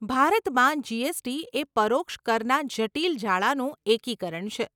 ભારતમાં જીએસટી એ પરોક્ષ કરના જટિલ જાળાનું એકીકરણ છે.